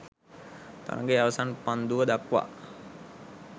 තරගයේ අවසන් පන්දුව දක්වා